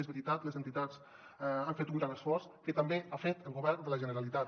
és veritat les entitats han fet un gran esforç que també l’ha fet el govern de la generalitat